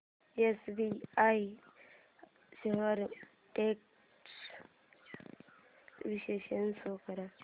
SBI shares trends चे विश्लेषण show कर